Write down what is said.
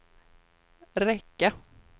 räcka